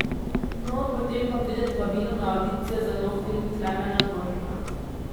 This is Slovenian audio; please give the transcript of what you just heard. No, potem pa pride povabilo na avdicijo za nov film Klemena Dvornika.